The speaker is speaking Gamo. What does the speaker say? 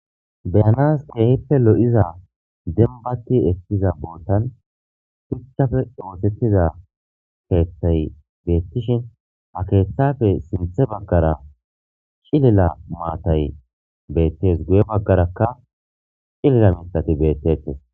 beyanas keehppe lo7iza denbatti ekkiza boottan phuchchafe ootettiza keeththay beettishin a keeththafe sinthe baggara cilela maatay beettes guye baggarakka cilela mitati beettetes